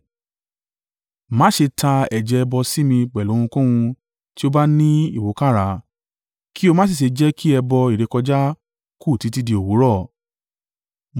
“Má ṣe ta ẹ̀jẹ̀ ẹbọ sí mi pẹ̀lú ohunkóhun tí ó bá ní ìwúkàrà, kí o má sì ṣe jẹ́ kí ẹbọ ìrékọjá kù títí di òwúrọ̀.